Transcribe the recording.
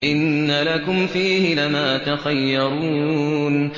إِنَّ لَكُمْ فِيهِ لَمَا تَخَيَّرُونَ